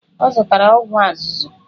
Ọ zụtara ọgwụ azụzụ.